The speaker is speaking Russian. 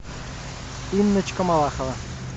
инночка малахова